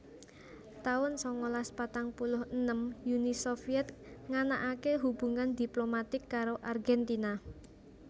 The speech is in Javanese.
taun sangalas patang puluh enem Uni Sovyèt nganakaké hubungan diplomatik karo Argentina